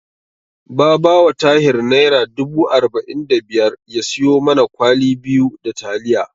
Ba ba wa Tahir Naira dubu arba'in da biyar ya siyo mana kwali biyu da taliya.